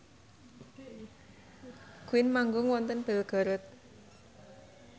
Queen manggung wonten Belgorod